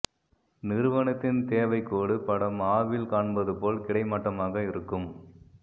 நிறுவனத்தின் தேவைக்கோடு படம் ஆ வில் காண்பது போல் கிடைமட்டமாக இருக்கும்